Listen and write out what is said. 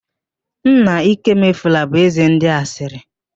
Nna Ikemefule bụ ézē ndị asịrị